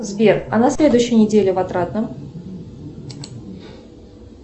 сбер а на следующей неделе в отрадном